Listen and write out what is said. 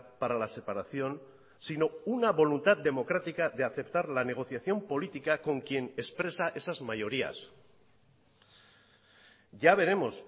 para la separación sino una voluntad democrática de aceptar la negociación política con quien expresa esas mayorías ya veremos